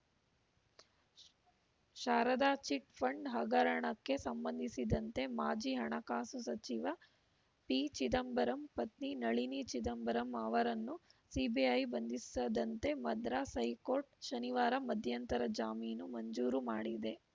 Sharada chit fund ಹಗರಣಕ್ಕೆ ಸಂಬಂಧಿಸಿದಂತೆ ಮಾಜಿ ಹಣಕಾಸು ಸಚಿವ ಪಿ ಚಿದಂಬರಂ ಪತ್ನಿ ನಳಿನಿ ಚಿದಂಬರಂ ಅವರನ್ನು ಸಿಬಿಐ ಬಂಧಿಸದಂತೆ ಮದ್ರಾಸ್‌ ಹೈಕೋರ್ಟ್‌ ಶನಿವಾರ ಮಧ್ಯಂತರ ಜಾಮೀನು ಮಂಜೂರು ಮಾಡಿದೆ